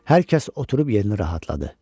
Hər kəs oturub yerini rahatladı.